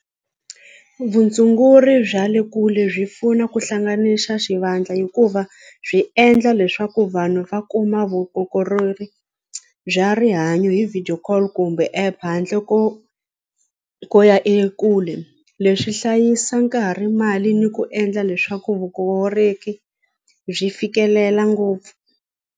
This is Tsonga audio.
Vutshunguri bya le kule byi pfuna ku hlanganisa xivandla hikuva byi endla leswaku vanhu va kuma bya rihanyo hi video call kumbe app handle ko ko ya ekule leswi hlayisa nkarhi mali ni ku endla leswaku byi fikelela ngopfu.